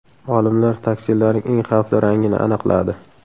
Olimlar taksilarning eng xavfli rangini aniqladi.